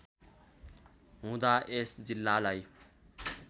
हुँदा यस जिल्लालाई